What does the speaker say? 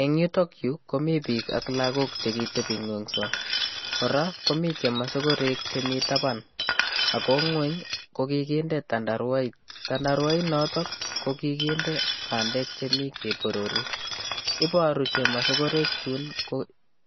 Eng yutokyu komi piik ak lagok che kitebingungso, kora komi chemasokorek chemi taban, ako nguny kokinde tandarwait, tandarwait noto ko kikinde bandek chemi keborori, iboru chemasokorek chun ko